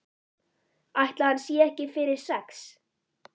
Ætli hann sé ekki fyrir sex?